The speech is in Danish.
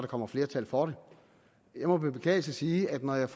kommer flertal for det jeg må med beklagelse sige at når jeg